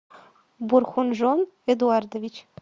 бурхонжон эдуардович